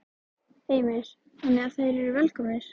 Heimir: Þannig að þeir eru velkomnir?